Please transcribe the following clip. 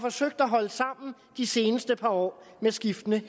forsøgt at holde sammen de seneste par år med skiftende